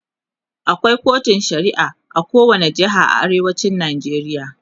akwai kotun shari'a a kowani jeha na arewacin Najeriya